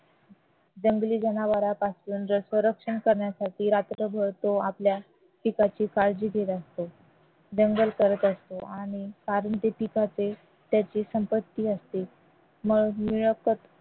जंगली जनावरांपासून संरक्षण करण्यासाठी रात्रभर तो आपल्या पिकाची तो काळजी घेत असतो करत असतो आणि कारण त्या पिकाचे त्याची संपत्ती असते